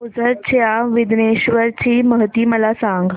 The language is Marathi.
ओझर च्या विघ्नेश्वर ची महती मला सांग